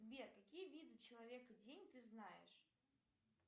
сбер какие виды человеко день ты знаешь